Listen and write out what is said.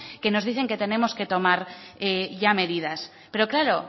que nos dicen que tenemos que tomar ya medidas pero claro